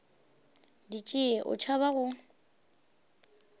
di tšee o tšhaba go